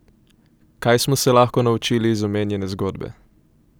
Kaj smo se lahko naučili iz omenjene zgodbe?